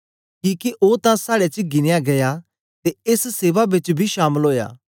किके ओ तां साड़े च गिनया गीया ते एस सेवा बेच बी शामल ओया